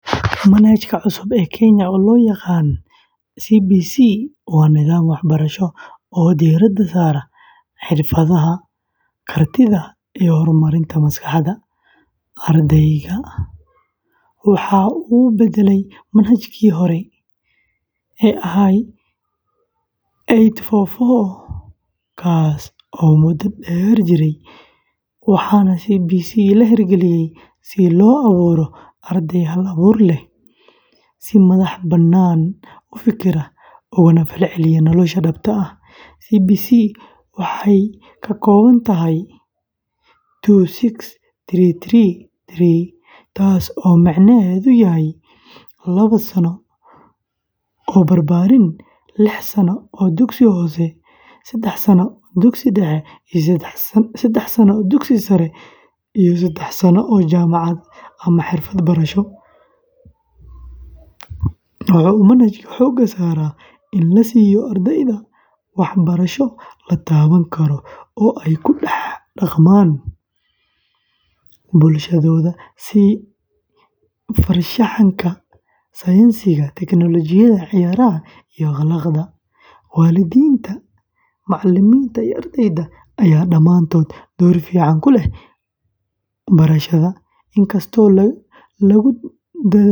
Manhajka cusub ee Kenya ee loo yaqaan CBC waa nidaam waxbarasho oo diiradda saara xirfadaha, kartida, iyo horumarinta maskaxda ardayga. Waxa uu beddelay manhajkii hore ee eight-four-four, kaas oo muddo dheer jiray, waxaana CBC la hirgeliyey si loo abuuro arday hal-abuur leh, si madax-bannaan u fekera, ugana falceliya nolosha dhabta ah. CBC waxa uu ka kooban yahay two-six-three-three-three, taas oo micnaheedu yahay: lawa sano barbaarin, liix sano dugsiga hoose, sedax sano dugsiga dhexe, sedax sano dugsiga sare, iyo sedax sano jaamacad ama xirfad barasho. Waxa uu manhajkani xoogga saaraa in la siiyo ardayda waxbarasho la taaban karo oo ay ku dhex dhaqmaan bulshadooda sida farshaxanka, sayniska, teknolojiyada, ciyaaraha, iyo akhlaaqda. Waalidiinta, macallimiinta, iyo ardayda ayaa dhammaantood door firfircoon ku leh barashada.